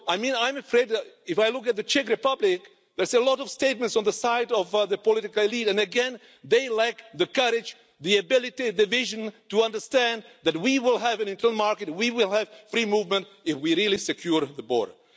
I'm afraid, if I look at the Czech Republic, there are a lot of statements on the side of the political elite and again they lack the courage, the ability, the vision to understand that we will have an internal market, we will have free movement, if we really secure the border.